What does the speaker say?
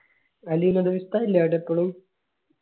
ഉസ്താദ് ഇല്ലേ അവിടെ ഇപ്പളും